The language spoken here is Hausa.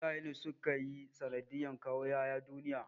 Iyaye ne suka yi sanadiyar kawo 'ƴa'ƴa duniya.